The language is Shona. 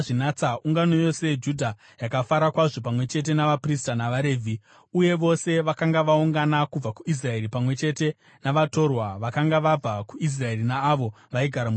Ungano yose yeJudha yakafara kwazvo, pamwe chete navaprista navaRevhi uye vose vakanga vaungana kubva kuIsraeri pamwe chete navatorwa vakanga vabva kuIsraeri naavo vaigara muJudha.